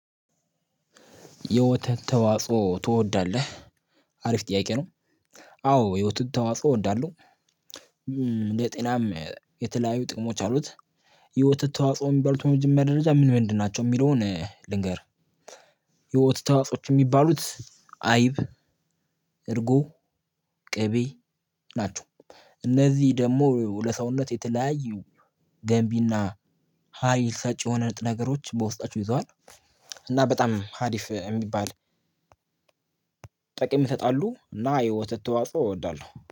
የወተት ተዋጽኦ ትወዳለህ አሪፍ ጥያቄ ነው? አዎ የወተት ተዋጽኦ እወዳለሁ ለጤናም የተለያዩ ጥቅሞችአሉት። የወተት ተዋጽኦ የሚባሉት በመጀመሪያ ደረጃ ምን ምንድን ናቸው የሚለውን ልንገር። የወተት ተዋጽኦወች የሚባሉት አይብ እርጎ ቅቤ ናቸው። እነዚህ ደግሞ ለሰውነት የተለያዩ ገንቢና ሀይል ሰጪ የሆነ ነገሮች በውስጣቸው ይዘዋል። እና በጣም ሀሪፍ እሚባል። ጥቅም ይሰጣሉ እና የወተት ተዋጽኦ እወዳለሁ